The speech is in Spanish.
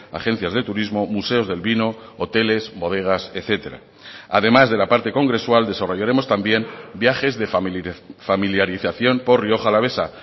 agencias de turismo museos del vino hoteles bodegas etcétera además de la parte congresual desarrollaremos también viajes de familiarización por rioja alavesa